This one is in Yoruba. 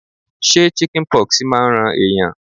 Ṣé chicken pox máa ń ran ẹ̀yàn.?